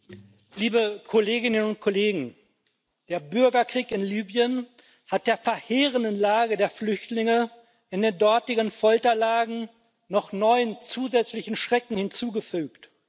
Herr Präsident, liebe Kolleginnen und Kollegen! Der Bürgerkrieg in Libyen hat der verheerenden Lage der Flüchtlinge in den dortigen Folterlagern noch neuen zusätzlichen Schrecken hinzugefügt.